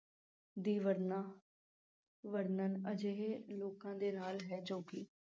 ਦੀ ਵਰਣਾ ਵਰਣਨ ਅਜਿਹੇ ਲੋਕਾਂ ਦੇ ਨਾਲ ਹੈ ਜੋ ਕਿ